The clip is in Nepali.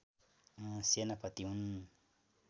सेनापति हुन्